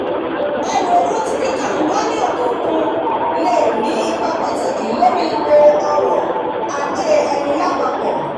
ẹrú owó ti kika mba ni òkè òkun le ni ipa pataki lori ipò ọrọ-ajé ẹni lápapọ̀